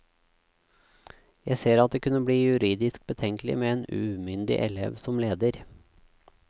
Jeg ser at det kunne bli juridisk betenkelig med en umyndig elev som leder.